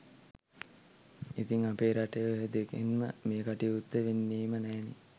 ඉතිං අපේ රටේ ඔය දෙකෙන්ම මේ කටයුත්ත වෙන්නෙම නෑනේ